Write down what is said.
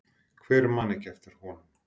Hver man ekki eftir honum?